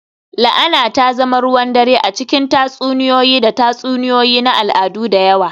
La'ana ta zama ruwan dare a cikin tatsuniyoyi da tatsuniyoyi na al'adu da yawa